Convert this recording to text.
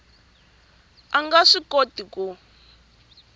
a nga swi kota ku